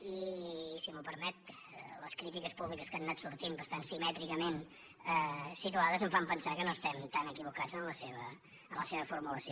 i si m’ho permet les crítiques públiques que han anat sortint bastant simètricament situades em fan pensar que no estem tan equivocats en la seva formulació